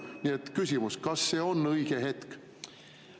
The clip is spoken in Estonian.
Nii et küsimus: kas see on õige hetk?